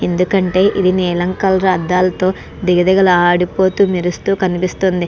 ఎందుకు అంటే ఇది నిలం కలర్ అడలతో దిగ దిగ లాడుతూ మెరుస్తూ కనిపిస్తుంది.